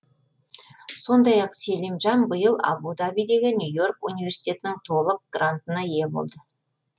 сондай ақ селимжан биыл абу дабидегі нью и орк университетінің толық грантына ие болды